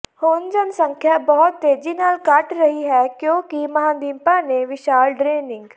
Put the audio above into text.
ਹੁਣ ਜਨਸੰਖਿਆ ਬਹੁਤ ਤੇਜ਼ੀ ਨਾਲ ਘਟ ਰਹੀ ਹੈ ਕਿਉਂਕਿ ਮਹਾਂਦੀਪਾਂ ਦੇ ਵਿਸ਼ਾਲ ਡਰੇਨਿੰਗ